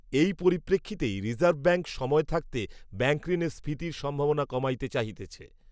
এই পরিপ্রেক্ষিতেই reserve, bank সময় থাকিতে ব্যাঙ্কঋণের স্ফীতির সম্ভাবনা কমাইতে চাহিতেছে